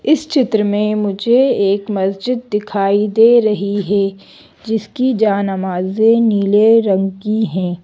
इस चित्र में मुझे एक मस्जिद दिखाई दे रही है जिसकी जानमाज़ें नीले रंग की हैं।